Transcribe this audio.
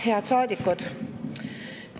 Head saadikud!